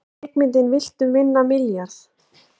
Kvikmyndin Viltu vinna milljarð?